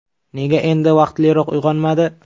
Nega endi vaqtliroq uyg‘onmadi?